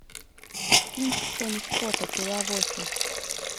кинчик тони скотта пила восемь